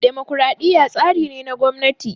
Dimokraɗiya tsari ne na gwamnati